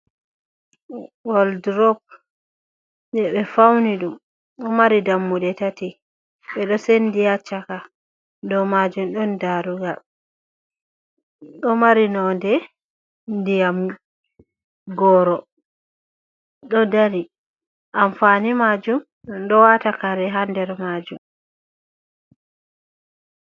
Walldrop je ɓe fauni ɗum ɗo mari dammuɗe tati. Ɓeɗo sendi haa caka dow majum ɗon darugal, ɗo mari nonde ndiyam goro, ɗo dari. Amfani majum ɗum ɗo wata kare haa nder majum.